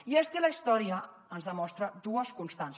i és que la història ens demostra dues constants